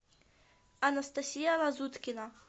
анастасия лазуткина